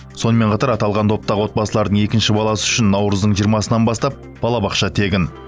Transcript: сонымен қатар аталған топтағы отбасылардың екінші баласы үшін наурыздың жиырмасынан бастап балабақша тегін